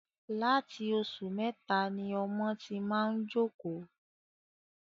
Láti ọmọ oṣù mẹta ni ọmọ ti máa ń jókòó